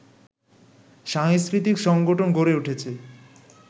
সাংস্কৃতিক সংগঠন গড়ে উঠেছে